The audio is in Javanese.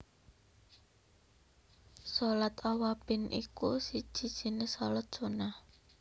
Shalat Awwabin iku siji jinis shalat Sunnah